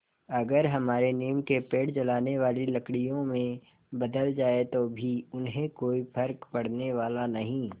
अगर हमारे नीम के पेड़ जलाने वाली लकड़ियों में बदल जाएँ तो भी उन्हें कोई फ़र्क पड़ने वाला नहीं